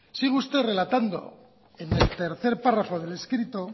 sigue usted relatando en el tercer párrafo del escrito